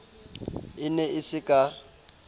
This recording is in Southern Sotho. e ne e se ka